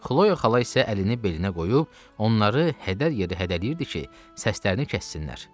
Xloya xala isə əlini belinə qoyub, onları hədər yeri hədələyirdi ki, səslərini kəssinlər.